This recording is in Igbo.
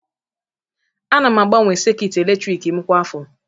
Ana m agbanwe sekit eletrik m kwa afọ